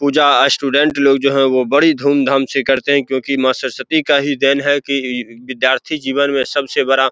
पूजा student लोग जो है वो बड़ी धूमधाम से करते हैं क्युकी माँ सरस्वती का ही देन है की विद्यार्थी जीवन में सबसे बड़ा --